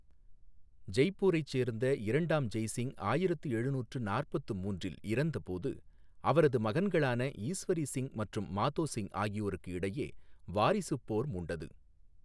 ஜெய்ப்பூரைச் சேர்ந்த இரண்டாம் ஜெய்சிங் ஆயிரத்து எழுநூற்று நாற்பத்து மூன்றில் இறந்தபோது, அவரது மகன்களான ஈஸ்வரி சிங் மற்றும் மாதோ சிங் ஆகியோருக்கு இடையே வாரிசுப் போர் மூண்டது.